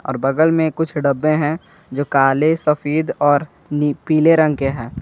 और बगल में कुछ डब्बे हैं जो काले सफेद और पीले रंग के हैं।